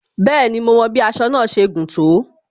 Bẹẹni, mo wọn bí aṣọ náà ṣe gùn tó